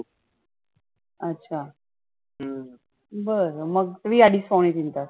अच्छा बरं मग तुम्ही आधी .